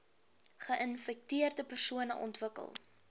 geinfekteerde persone ontwikkel